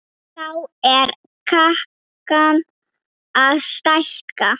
Þá er kakan að stækka.